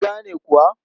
Kun gane kuwa?